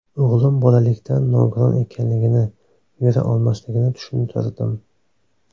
O‘g‘lim bolalikdan nogiron ekanligini, yura olmasligini tushuntirdim.